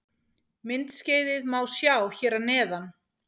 Myndskeiðið má sjá hér að neðan